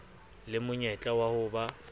le monyetla wa ho ba